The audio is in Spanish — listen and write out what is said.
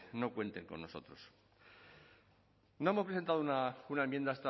no cuenten con nosotros no hemos presentado una enmienda a